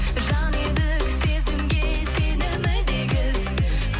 жан едік сезімге сенімі де егіз